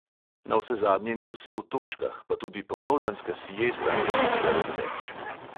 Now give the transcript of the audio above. Navsezadnje ni vse v točkah, pa tudi popoldanska siesta ni nikdar odveč.